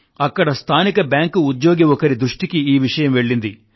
అక్కడ స్థానిక బ్యాంకు ఉద్యోగి ఒకరి దృష్టికి ఈ విషయం వెళ్ళింది